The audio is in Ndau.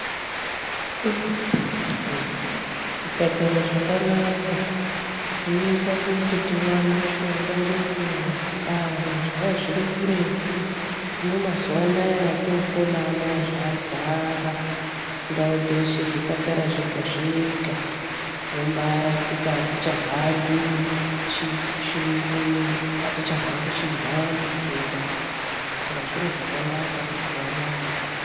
Zvipatara zvakanaka zvinoita kuti tiwane mushonga ngenguwa. Kare zvanga zviri kuretu hino mazuva anaya etopona anaya zvazara ndau dzeshe zvipatara zvega zvega wombaarapika hatichahambi chi chionini hatichahambi chinhambwe kutoendayo saka zviro zvakanaka mazuva anaya.